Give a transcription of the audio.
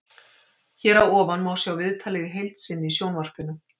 Hér að ofan má sjá viðtalið í heild seinni í sjónvarpinu.